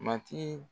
Matigi